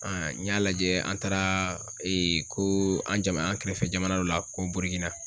n y'a lajɛ an taara ko an jama an kɛrɛfɛ jamana Dɔ la ko bururikina.